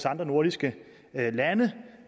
andre nordiske lande